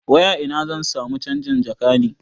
Wai a ina zan samu canjin jaka ne?